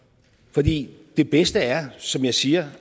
fordi det bedste er som jeg siger